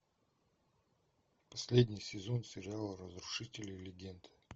последний сезон сериала разрушители легенд